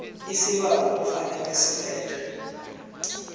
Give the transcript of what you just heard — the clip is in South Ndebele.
isibawo kufanele silethwe